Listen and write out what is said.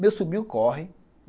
Meu sobrinho corre.